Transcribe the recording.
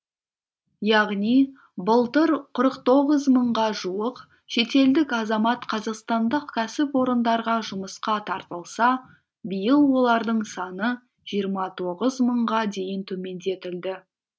яғни былтыр қырық тоғыз мыңға жуық шетелдік азамат қазақстандық кәсіпорындарға жұмысқа тартылса биыл олардың саны жиырма тоғыз мыңға дейін төмендетілді